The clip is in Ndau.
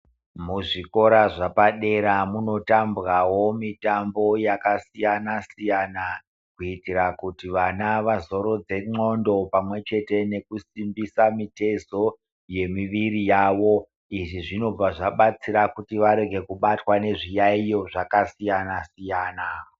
Muzvikora zvapadera munotambwawo mitambo yakasiyayanasiyana, kuitira kuti vana vazorodze ndxondo pamwe chete nekusimbisa mitezo yemiviri yavo. Izvi zvinobva zvabatsira kuti varege kubatwa nezviyaiyo zvakasiyana siyana.